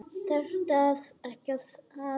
Þarftu ekki að.?